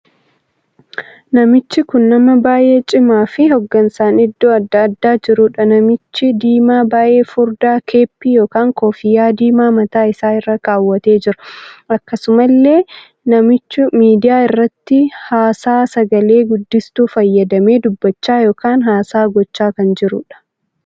Namichi kun namaa baay'ee cimaa fi hogansa an iddoo addaa addaa jirudha. namichi diimaa baay'ee furdaa keeppii ykn koffiyyaa diimaa mataa isaa irraa kaawwatee jira. akkasumallee namichu miidiyaa irratti haasaa sagalee guddistuu fayyadamee dubbachaa ykn haasaa gochaa kan jiruudhaam!